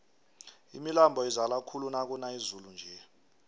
imilambo izala khulu nakuna izulu nje